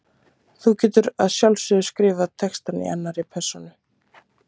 Þú getur að sjálfsögðu skrifað texta í annarri persónu.